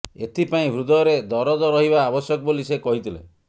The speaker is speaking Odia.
ଏଥି ପାଇଁ ହୃଦୟରେ ଦରଦ ରହିବା ଆବଶ୍ୟକ ବୋଲି ସେ କହିଥିଲେ